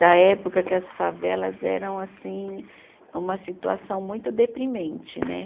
Da época que as favelas eram, assim, uma situação muito deprimente, né?